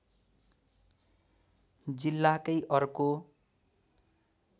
जिल्लाकै अर्को